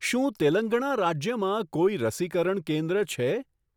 શું તેલંગણા રાજ્યમાં કોઈ રસીકરણ કેન્દ્ર છે?